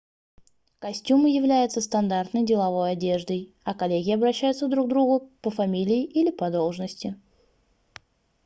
костюмы являются стандартной деловой одеждой а коллеги обращаются друг к другу по фамилии или по должности